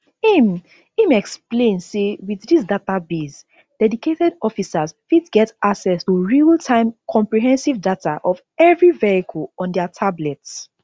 im im explain say wit dis database dedicated officers fit get access to realtime comprehensive data of evri vehicle on dia tablets